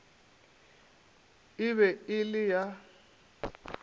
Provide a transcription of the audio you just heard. e be e le ya